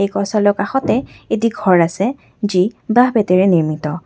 কাষতে এটি ঘৰ আছে যি বাঁহ-বেতেৰে নিৰ্মিত।